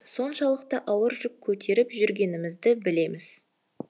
соншалықты ауыр жүк көтеріп жүргенімізді білеміз